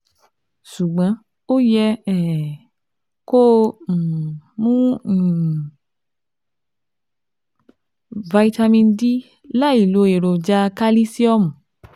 Ṣùgbọ́n, o yẹ um kó o um mu um Vitamin D láìlo èròjà kalisiomu